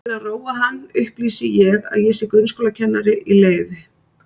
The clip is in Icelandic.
Til að róa hann upplýsi ég að ég sé grunnskólakennari í leyfi.